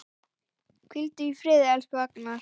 Hvíldu í friði, elsku Agnar.